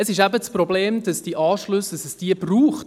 Das Problem ist, dass es diese Anschlüsse braucht.